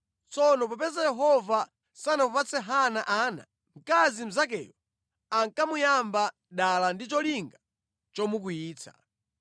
Tsono popeza Yehova sanamupatse Hana ana, mkazi mnzakeyo ankamuyamba dala ndi cholinga chomukwiyitsa.